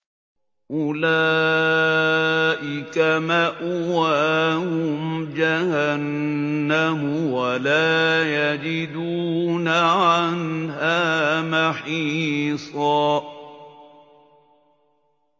أُولَٰئِكَ مَأْوَاهُمْ جَهَنَّمُ وَلَا يَجِدُونَ عَنْهَا مَحِيصًا